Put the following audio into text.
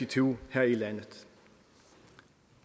tyve her i landet